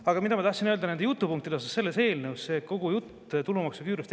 Aga ma tahtsin öelda nende jutupunktide kohta, selle eelnõu kohta, tulumaksuküüru jutu kohta.